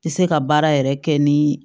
Tɛ se ka baara yɛrɛ kɛ ni